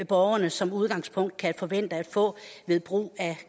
borgerne som udgangspunkt kan forvente at få ved brug af